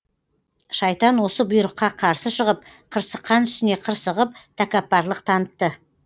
шайтан осы бұйрыққа қарсы шығып қырсыққан үстіне қырсығып тәкаппарлық танытты